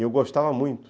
E eu gostava muito.